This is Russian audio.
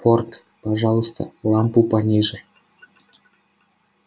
порк пожалуйста лампу пониже